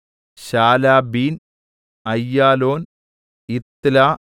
ശാലബ്ബീൻ അയ്യാലോൻ യിത്ല